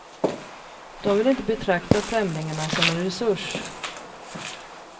De vill inte betrakta främlingarna som en resurs.